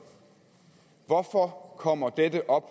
hvorfor kommer dette op